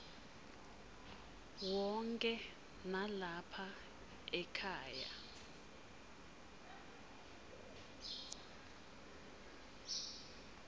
wonkhe nalapha ekhaya